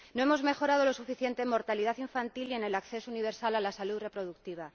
No hemos mejorado lo suficiente en mortalidad infantil ni en el acceso universal a la salud reproductiva.